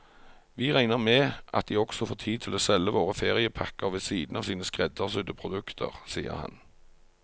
Vi regner med at de også får tid til å selge våre feriepakker ved siden av sine skreddersydde produkter, sier han.